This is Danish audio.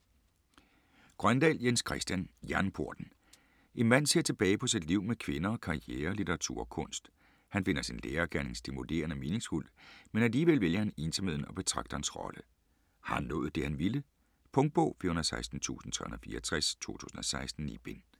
Grøndahl, Jens Christian: Jernporten En mand ser tilbage på sit liv med kvinder, karriere, litteratur og kunst. Han finder sin lærergerning stimulerende og meningsfuld, men alligevel vælger han ensomheden og betragterens rolle. Har han nået det han ville? Punktbog 416364 2016. 9 bind.